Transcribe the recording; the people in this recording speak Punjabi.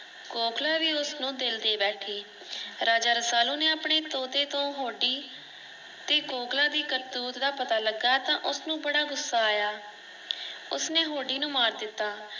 ਕੋਕਿਲਾ ਭੀ ਉਸਨੂੰ ਦਿਲ ਦੇ ਬੈਠੀ। ਰਾਜਾ ਰਸਾਲੂ ਨੇ ਆਪਣੇ ਤੋਤੇ ਤੋ ਹੋਡੀ ਤੇ ਕੋਕਿਲਾ ਦੀ ਕਰਤੂਤ ਦਾ ਪਤਾ ਲਗਾ ਤਾਂ ਉਸਨੂੰ ਬੜਾ ਗੁੱਸਾ ਆਇਆ ।ਉਸਨੇ ਹੋੜੀ ਨੂੰ ਮਾਰ ਦਿੱਤਾ।